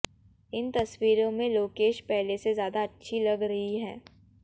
इन तस्वीरों में लोकेश पहले से ज्यादा अच्छी लग रही हैं